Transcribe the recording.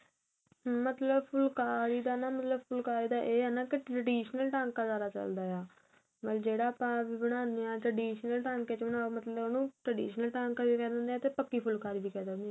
ਮਤਲਬ ਫੁਲਕਾਰੀ ਦਾ ਨਾ ਮਤਲਬ ਫੁਲਕਾਰੀ ਦਾ ਏਹ ਹੈ ਨਾ traditional ਟਾਂਕਾ ਜਿਆਦਾ ਚੱਲਦਾ ਆਂ ਮਤਲਬ ਜਿਹੜਾ ਆਪਾ ਬਣਾਦੇ ਹਾਂ traditional ਟਾਂਕੇ ਵਿੱਚ ਬਣਾਉ ਉਹਨੂੰ traditional ਟਾਂਕਾ ਵੀ ਕਹਿ ਦਿੰਦੇ ਹਾਂ ਪੱਕੀ ਫੁਲਕਾਰੀ ਵੀ ਕਹਿ ਦਿੰਨੇ ਏ